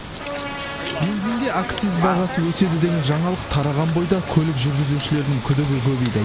бензинге акциз бағасы өседі деген жаңалық тараған бойда көлік жүргізушілерінің күдігі көбейді